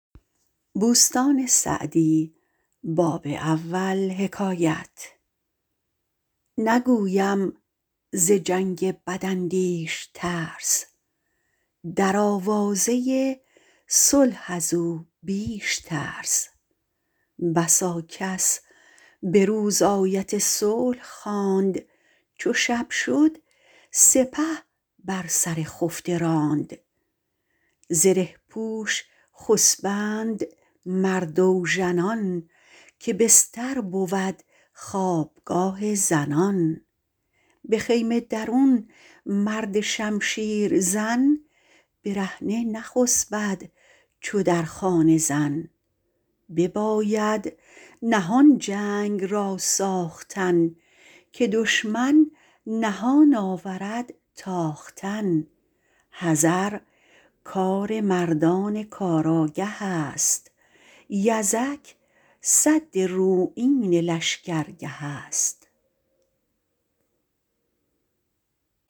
نگویم ز جنگ بد اندیش ترس در آوازه صلح از او بیش ترس بسا کس به روز آیت صلح خواند چو شب شد سپه بر سر خفته راند زره پوش خسبند مرد اوژنان که بستر بود خوابگاه زنان به خیمه درون مرد شمشیر زن برهنه نخسبد چو در خانه زن بباید نهان جنگ را ساختن که دشمن نهان آورد تاختن حذر کار مردان کار آگه است یزک سد رویین لشکر گه است